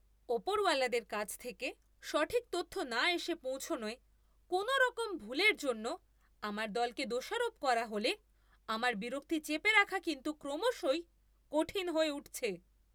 ওপরওয়ালাদের কাছ থেকে সঠিক তথ্য না এসে পৌঁছনোয় কোনওরকম ভুলের জন্য আমার দলকে দোষারোপ করা হলে আমার বিরক্তি চেপে রাখা কিন্তু ক্রমশই কঠিন হয়ে উঠছে।